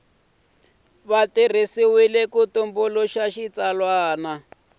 wu tirhisiwile ku tumbuluxa xitsalwana